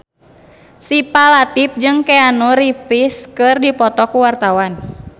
Syifa Latief jeung Keanu Reeves keur dipoto ku wartawan